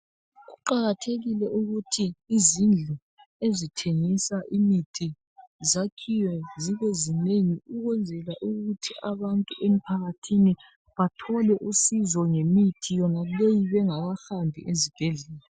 Kuqakathekile ukuthi izindlu ezithengisa imithi zakhiwe zibezinengi ukwenzela ukuthi abantu emphakathini bathole usizo ngemithi yonaleyi bengakahambi ezibhedlela.